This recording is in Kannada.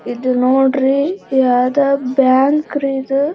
ಇದು ನೋಡ್ರಿ ಯಾವ್ದೋ ಬ್ಯಾಂಕ್ ರೀ ಇದು-